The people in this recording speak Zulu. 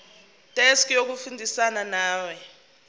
desk yokusizana nawe